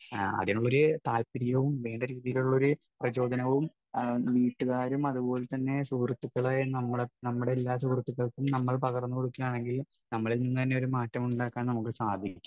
Speaker 1 അതിനുള്ള ഒരു താൽപര്യവും വേണ്ട രീതിയിലുള്ള ഒരു പ്രചോദനവും വീട്ടുകാരും അതുപോലെതന്നെ സുഹൃത്തുക്കളായ നമ്മളും, നമ്മുടെ എല്ലാ സുഹൃത്തുക്കൾക്കും നമ്മൾ പകർന്നു കൊടുക്കുകയാണെങ്കിൽ നമ്മളിൽ നിന്നു തന്നെ ഒരു മാറ്റം ഉണ്ടാക്കാൻ നമുക്ക് സാധിക്കും.